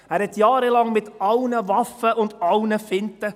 Er kämpfte jahrelang mit allen Waffen und allen Finten.